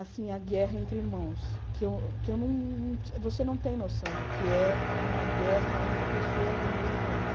Assim, a guerra entre irmãos, que eu que eu não você não tem noção do que é uma guerra entre pessoas do mesmo país.